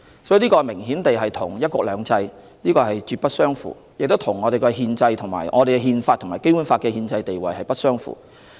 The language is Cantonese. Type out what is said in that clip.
所以，這明顯與"一國兩制"絕不相符，也與我們的《憲法》和《基本法》的憲制地位不相符。